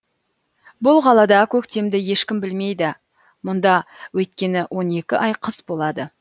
бұл қалада көктемді ешкім білмейді мұнда өйткені он екі ай қыс болады